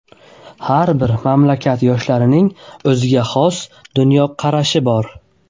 Har bir mamlakat yoshlarining o‘ziga xos dunyoqarashi bor.